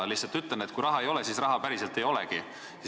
Lihtsalt ütlen, et kui raha ei ole, siis päriselt ei olegi.